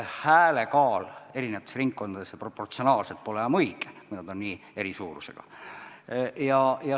Hääle kaal eri ringkondades ei ole proportsionaalselt enam õige, kui ringkonnad on nii eri suurusega.